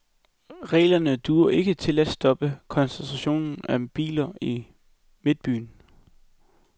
Reglerne duer ikke til at stoppe koncentrationen af biler i midtbyen.